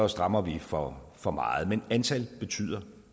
strammer vi for for meget men antal betyder